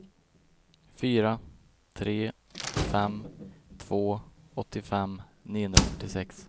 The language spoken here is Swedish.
fyra tre fem två åttiofem niohundrafyrtiosex